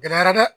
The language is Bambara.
Gɛlɛyara dɛ